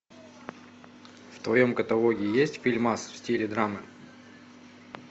в твоем каталоге есть фильмас в стиле драмы